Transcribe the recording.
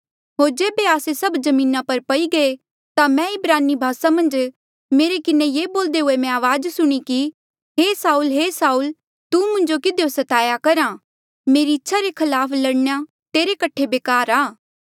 होर जेबे आस्से सभ जमीना पर पई गये ता मैं इब्रानी भासा मन्झ मेरे किन्हें ये बोल्दे हुए मैं अवाज सुणी कि हे साऊल हे साऊल तू मुंजो किधियो स्ताया करहा मेरी इच्छा रे खलाफ लड़ना तेरे कठे बेकार आ